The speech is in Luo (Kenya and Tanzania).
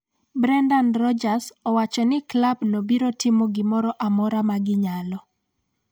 Brendan Rodgers owacho ni klab no biro timo gimoro amora ma ginyalo